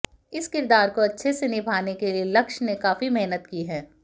इस किरदार को अच्छे से निभाने के लिए लक्ष ने काफी मेहनत की है